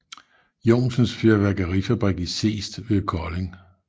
Johnsens Fyrværkerifabrik i Seest ved Kolding